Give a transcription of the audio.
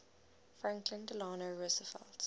franklin delano roosevelt